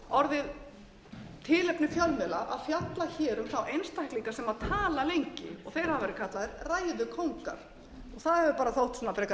orðið tilefni fjölmiðla að fjalla um þá einstaklinga sem tala lengi og þeir hafa verið kallaðir ræðukóngar og það hefur þótt frekar